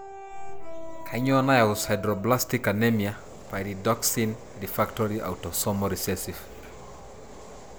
kanyio nayau sideroblastic anemia pyridoxine refractory autosomal recessive?